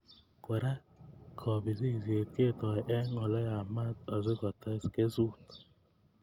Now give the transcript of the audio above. Kora ko kobisisiet ketoi eng Ole yamat asikotes kesutik